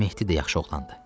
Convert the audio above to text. Mehdi də yaxşı oğlandır.